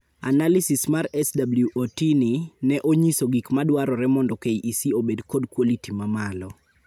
Analysis mar SWOT ni ne onyiso gik madwarore mondo KEC obed kod quality ma malo.